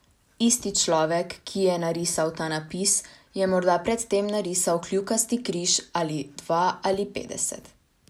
Isti človek, ki je narisal ta napis, je morda pred tem narisal kljukasti križ ali dva ali petdeset.